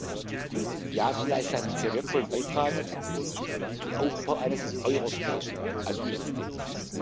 Das EASO leistet einen sehr wertvollen Beitrag zum Aufbau eines europäischen Asylsystems.